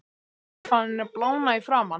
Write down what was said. Ég er farinn að blána í framan.